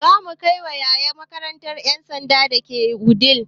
Za mu kai yaya na makarantar ƴan sandan da ke Wudil